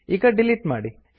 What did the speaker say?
ಈಗ ಡಿಲೀಟ್ ಮಾಡಿ